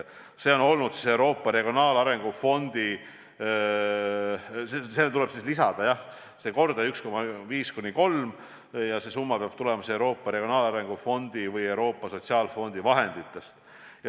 See kordaja on 1,5–3 ning see summa peab tulema Euroopa Regionaalarengu Fondi või Euroopa Sotsiaalfondi vahenditest.